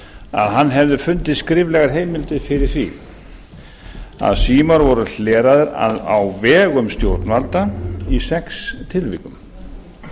að hann hefði fundið skriflegar heimildir fyrir því að símar voru hleraðir á vegum stjórnvalda í sex tilvikum